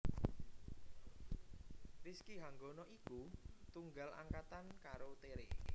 Rizky Hanggono iku tunggal angkatan karo Tere